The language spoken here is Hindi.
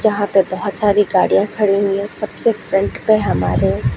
जहां पे बोहोत सारी गाड़ियां खड़ी हुई है। सबसे फ्रंट पे हमारे --